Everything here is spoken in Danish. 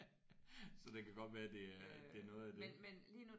Så det kan godt være det er det er noget af det